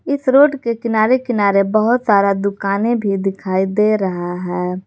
इस रोड के किनारे किनारे बहुत सारा दुकाने भी दिखाई दे रहा है।